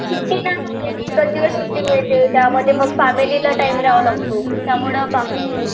सुट्टी नाही एकच दिवस सुट्टी मिळते, त्यामध्ये मग फॅमिलीला टाईम द्यावा लागतो. त्यामुळं बाकी